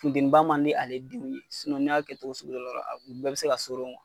Fudeniba man di ale denw ye ni y'a kɛ cogo sugu dɔ la a u bɛɛ bɛ se ka